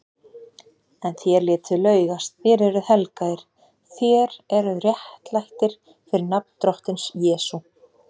En þér létuð laugast, þér eruð helgaðir, þér eruð réttlættir fyrir nafn Drottins Jesú